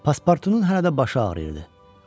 Paspartunun hələ də başı ağrıyırdı.